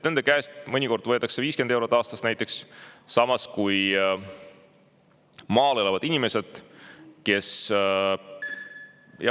Nende käest mõnikord võetakse 50 eurot aastas näiteks, samas kui maal elavad inimesed, kes …